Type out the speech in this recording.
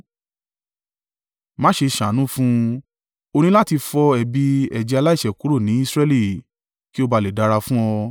Má ṣe ṣàánú fún un. O ní láti fọ ẹ̀bi ẹ̀jẹ̀ aláìṣẹ̀ kúrò ni Israẹli, kí ó bá à lè dára fún ọ.